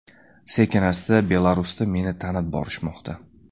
Sekin-asta Belarusda meni tanib borishmoqda”.